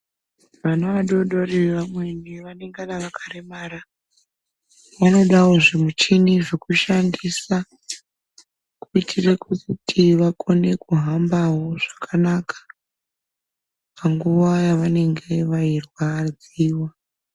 Vana vadodori vamweni vanongana vakaremara, vanodawo zvimuchini zvokushandisa kuitira kuti vakone kuhambawo zvakanaka panguva yavanenge veirwadziwa.